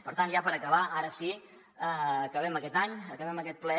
per tant ja per acabar ara sí acabem aquest any acabem aquest ple